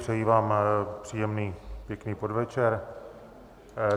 Přeji vám příjemný pěkný podvečer.